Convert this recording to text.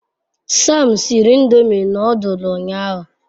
Sam siri ndomi nodul unyahu